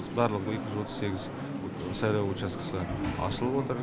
барлық екі жүз отыз сегіз сайлау учаскісі ашылып отыр